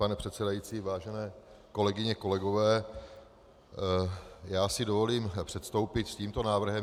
Pane předsedající, vážené kolegyně, kolegové, já si dovolím předstoupit s tímto návrhem.